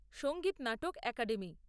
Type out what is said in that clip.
Sangeet Natak academy